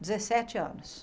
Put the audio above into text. Dezessete anos.